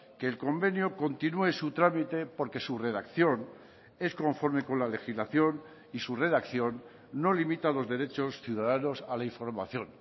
que el convenio continúe su trámite porque su redacción es conforme con la legislación y su redacción no limita los derechos ciudadanos a la información